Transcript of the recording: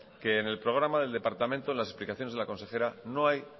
que en el programa del departamento en las explicaciones de la consejera no hay